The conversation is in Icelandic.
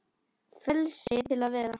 Frelsi til að vera.